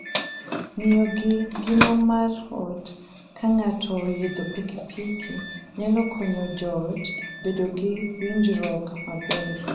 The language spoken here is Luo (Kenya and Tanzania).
Ng'iyo gi ngima mar ot ka ng'ato oidho pikipiki nyalo konyo joot obed gi winjruok maber.